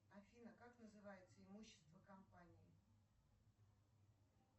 афина как называется имущество компании